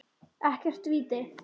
Ekkert víti.